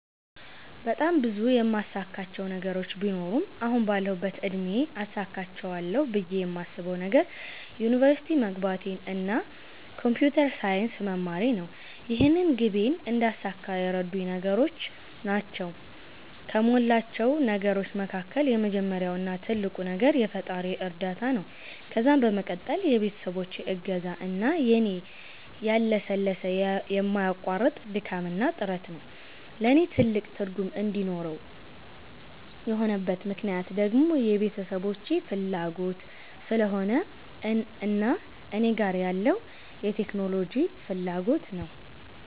በጣም ብዙ የማሳካቸው ነገሮች ቢኖሩም አሁን ባለሁበት እድሜ አሳክቸዋለሁ ብየ የማስበዉ ነገር ዩኒቨርሲቲ መግባቴን እና ኮንፒተር ሳይንስ መማሬን ነው። ይህንን ግቤን እንዳሳካ የረዱኝ ነገሮች ናቸዉ ከሞላቸው ነገሮች መካከል የመጀመሪያው እና ትልቁ ነገር የፈጣሪየ እርዳታ ነዉ ከዛም በመቀጠል የቤተሰቦቼ እገዛ እና የኔ ያለሰለሰ የማያቋርጥ ድካምና ጥረት ነዉ። ለኔ ትልቅ ትርጉም እንዲኖረው የሆነበት ምክነያት ደግሞ የቤተሰቦቼ ፋላጎት ስለሆነ እና እኔ ጋር ያለዉ የቴክኖሎጂ ፋላጎት ነዉ።